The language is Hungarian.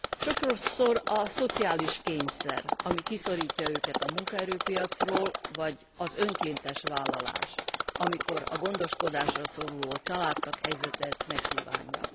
Sokszor a szociális kényszer, ami kiszorítja őket a munkaerőpiacról, vagy az önkéntes vállalás, amikor a gondoskodásra szoruló családtag helyzete ezt megkívánja.